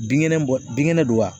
Binkɛnɛ bɔ binkɛnɛ don wa